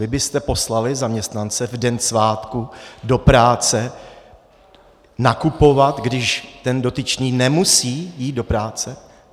Vy byste poslali zaměstnance v den svátku do práce nakupovat, když ten dotyčný nemusí jít do práce?